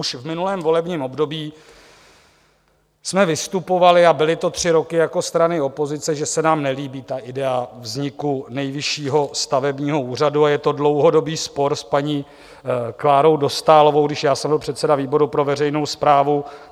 Už v minulém volebním období jsme vystupovali, a byly to tři roky, jako strany opozice, že se nám nelíbí ta idea vzniku Nejvyššího stavebního úřadu, a je to dlouhodobý spor s paní Klárou Dostálovou, když já jsem byl předseda výboru pro veřejnou správu.